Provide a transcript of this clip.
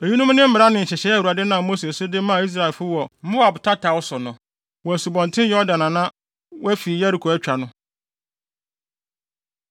Eyinom ne mmara ne nhyehyɛe a Awurade nam Mose so de maa Israelfo wɔ Moab tataw so no, wɔ Asubɔnten Yordan a na wɔafi Yeriko atwa no.